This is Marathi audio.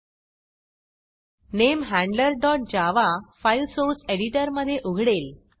NameHandlerjavaनेम हॅंड्लर जावा फाईल सोर्स एडिटरमधे उघडेल